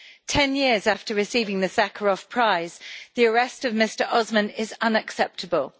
Ten years after receiving the Sakharov Prize, the arrest of Mr Osman is unacceptable.